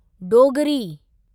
Dogri